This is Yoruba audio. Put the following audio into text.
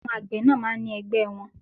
Àwọn àgbẹ̀ náà máa ń ní ẹgbẹ́ẹ wọn.